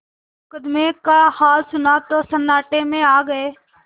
मुकदमे का हाल सुना तो सन्नाटे में आ गये